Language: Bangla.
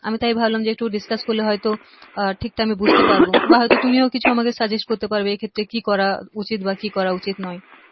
আমি তাই ভাবলাম যে একটু discuss করলে হয়তো আহ ঠিকটা আমি বুঝতে পারবো বা তুমিও হয়তো কিছু আমাকে suggest করতে পারবে এক্ষেত্রে কি করা উচিত বা কি করা উচিত নয়